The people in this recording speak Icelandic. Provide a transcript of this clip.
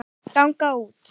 ganga út